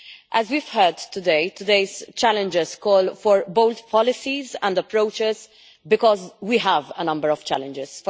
As we have heard today, today's challenges call for both policies and approaches, because we have a number of challenges.